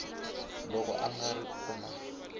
loko a nga ri kona